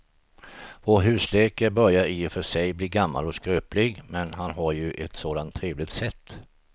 Vår husläkare börjar i och för sig bli gammal och skröplig, men han har ju ett sådant trevligt sätt!